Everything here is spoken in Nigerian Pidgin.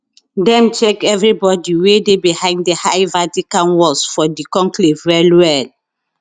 dem check evri body wey dey behind di high vatican walls for di conclave wellwell